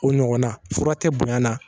O ɲɔgɔn na fura tɛ bonya na